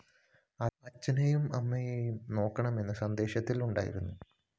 അചഛനെയും അമ്മയെയും നോക്കണമെന്നും സന്ദേശത്തിലുണ്ടായിരുന്നു